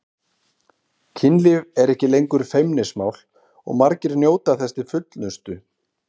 Kynlíf er ekki lengur feimnismál og margir njóta þess til fullnustu.